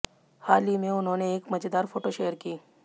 हाल ही में उन्होंने एक मजेदार फोटो शेयर की